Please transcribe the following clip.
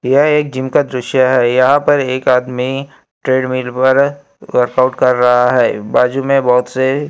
यह एक जिम का दृश्य है यहां पर एक आदमी ट्रेडमिल पर वर्कआउट कर रहा है बाजू में बहोत से--